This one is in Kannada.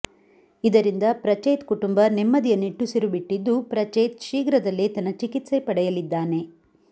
ಇದರಿಂದ ಪ್ರಚೇತ್ ಕುಟುಂಬ ನೆಮ್ಮದಿಯ ನಿಟ್ಟುಸಿರು ಬಿಟ್ಟಿದ್ದು ಪ್ರಚೇತ್ ಶೀಘ್ರದಲ್ಲೇ ತನ್ನ ಚಿಕಿತ್ಸೆ ಪಡೆಯಲಿದ್ದಾನೆ